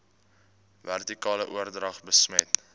vertikale oordrag besmet